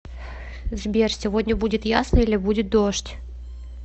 сбер сегодня будет ясно или будет дождь